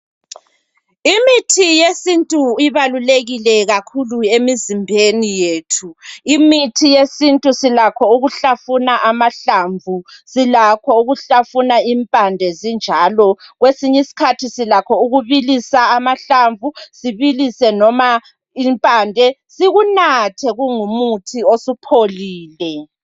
Imithi yesintu ibalulekile kakhulu emizimbeni yethu. Imithi yesintu silakho ukuhlafuna amahlamvu, silakho ukuhlafuna impande zinjalo kwesinyi skhathi silakho ukubilisa amahlamvu sibilise noma impande sikunathe kungumuthi osupholile.